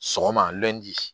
Sɔgɔma